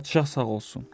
Padşah sağ olsun.